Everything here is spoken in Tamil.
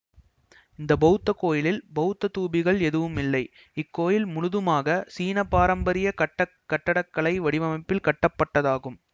இந்த பௌத்த கோயிலில் பௌத்தத் தூபிகள் எதுவும் இல்லை இக்கோயில் முழுதுமாக சீன பாரப்பரிய கட்டக் கட்டடக்கலை வடிவமைப்பில் கட்டப்பட்டதாகும்